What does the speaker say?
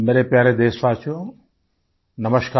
मेरे प्यारे देशवासियो नमस्कार